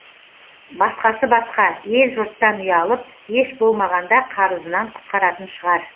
басқасы басқа ел жұрттан ұялып еш болмағанда қарызынан құтқаратын шығар